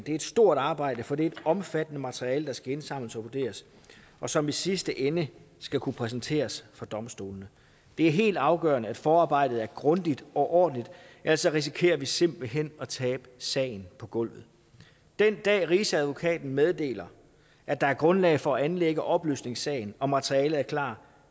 et stort arbejde for det er et omfattende materiale der skal indsamles og vurderes og som i sidste ende skal kunne præsenteres for domstolene det er helt afgørende at forarbejdet er grundigt og ordentligt ellers risikerer vi simpelt hen at tabe sagen på gulvet den dag rigsadvokaten meddeler at der er grundlag for at anlægge opløsningssagen og materialet er klar